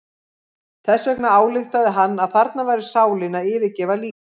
Þess vegna ályktaði hann að þarna væri sálin að yfirgefa líkamann.